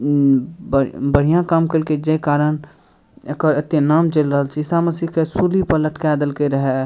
उम् ब बढ़िया काम कैलकइ जे कारण एकर एते नाम चल रहल छे। ईशा मशीह के सूली पर लटका देलकै रहे।